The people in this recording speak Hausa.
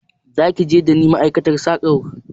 Zaki tafi tare dani ma'aikatar sakar?